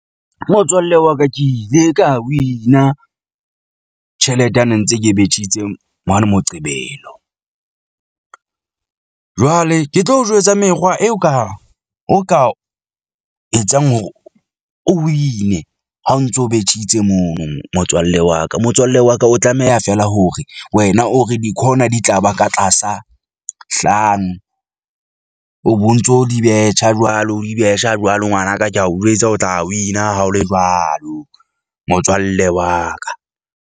Motswalle wa ka ke ile ka win-a tjhelete a ne ntse ke betjhitse mane moqebelo . Jwale ke tlo o jwetsa mekgwa eo ka o ka etsang hore o win-e ha o ntso betjhitse mono motswalle wa ka. Motswalle wa ka o tlameha fela hore wena o re di-corner di tla ba ka tlasa, hlano o bo ntso di betjha jwalo o di betjha jwalo. Ngwanaka ke a o jwetsa, o tla win-a ha ho le jwalo motswalle wa ka.